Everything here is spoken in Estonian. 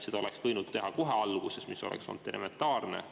Seda oleks võinud teha kohe, see oleks olnud elementaarne.